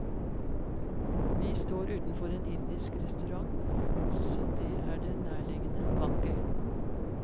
Vi står utenfor en indisk restaurant, så det er det nærliggende valget.